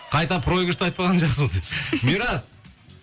қайта проигрышты айтпағаның жақсы болды мирас